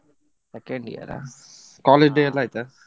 Second year ಆ. College day ಎಲ್ಲ ಆಯ್ತಾ?